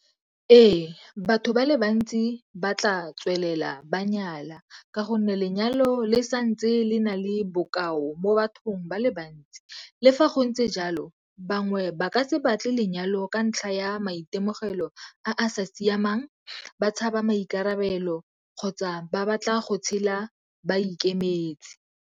Ee, batho ba le bantsi ba tla tswelela ba nyala ka gonne lenyalo le sa ntse le na le bokao mo bathong ba le bantsi. Le fa go ntse jalo bangwe ba ka se batle lenyalo ka ntlha ya maitemogelo a a sa siamang, ba tshaba maikarabelo kgotsa ba batla go tshela ba ikemetse.